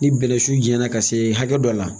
Ni bɛnɛsuɲana ka se hakɛ dɔ la